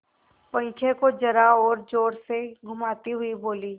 पंखे को जरा और जोर से घुमाती हुई बोली